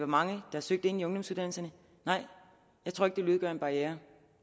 mange der har søgt ind på ungdomsuddannelserne nej jeg tror ikke det vil udgøre en barriere